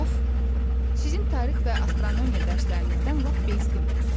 Of, sizin tarix və astronomiya dərslərinizdən lap bezdim.